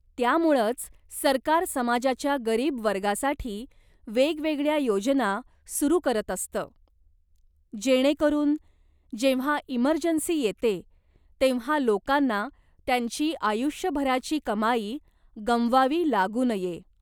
त्यामुळंच सरकार समाजाच्या गरीब वर्गासाठी वेगवेगळ्या योजना सुरू करत असतं, जेणेकरून, जेव्हा इमर्जन्सी येते, तेव्हा लोकांना त्यांची आयुष्यभराची कमाई गमवावी लागू नये.